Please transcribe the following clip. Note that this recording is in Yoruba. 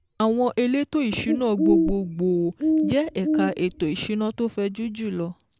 Àwọn elétò ìsúná gbogbo gbòò je ẹ̀ka ètò ìsúná tó fẹjù jùlọ